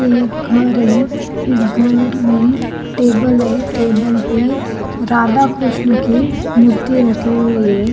ये एक घर है इस घर में टेबल है टेबल पे राधा कृष्ण की मूर्ति रखी हुई है।